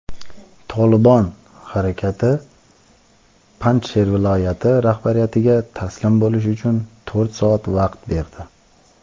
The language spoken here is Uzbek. "Tolibon" harakati Panjsher viloyati rahbariyatiga taslim bo‘lish uchun to‘rt soat vaqt berdi..